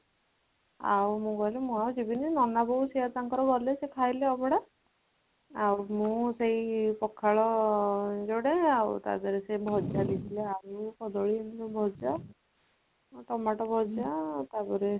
ଆଉ ମୁଁ କହିଲି ମୁଁ ଆଉ ଯିବିନି ନନା ବୋଉ ସେ ତାଙ୍କର ଗଲେ ସେ ଖାଇଲେ ଅଭଡ଼ା ଆଉ ମୁଁ ସେଇ ପଖାଳ ଯୋଡ଼େ ଆଉ ତାପରେ ସେଇ ଭଜା ଦେଇଥିଲେ ଆଳୁ , କଦଳୀ ଭଜା ଆଉ ଟମାଟୋ ଭଜା ତାପରେ ସେଇ